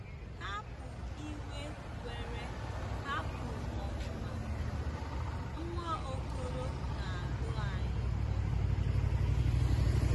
"Hapụ iwe were hapụ ọnụma," Nwaokolo na-adụ anyị ọdụ.